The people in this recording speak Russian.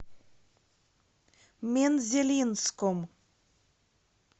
мензелинском